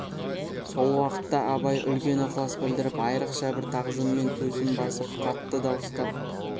сол уақытта абай үлкен ықылас білдіріп айрықша бір тағзыммен төсін басып қатты дауыстап